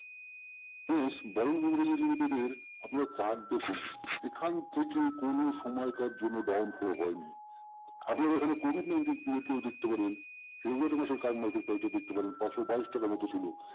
এর আপনারা দেখুন এখন থেকে সময় কার জন্য down fall হয়নি। আপনারা এখানে covid nineteen period টি ও দেখতে পারেন February মাসের current market price টা দেখতে পারেন পাঁচশো বাইশ টাকা মতো ছিল।